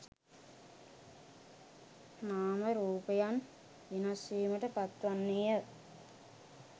නාම රූපයන් වෙනස්වීමට පත් වන්නේය.